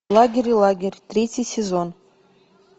лагерь лагерь третий сезон